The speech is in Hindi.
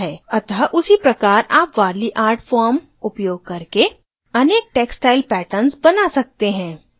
अतः उसी प्रकार आप warli art form उपयोग करके अनेक textile patterns बना सकते हैं